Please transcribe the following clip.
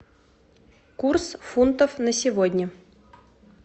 курс фунтов на сегодня